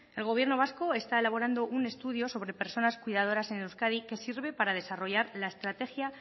el gobierno vasco está elaborando un estudio sobre personas cuidadoras en euskadi que sirve para desarrollar la estrategia